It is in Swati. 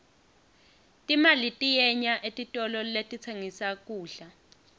timali tiyenya etitolo letitsengissa kudla